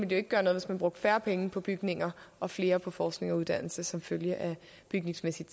det ikke gøre noget hvis man brugte færre penge på bygninger og flere på forskning og uddannelse som følge af bygningsmæssigt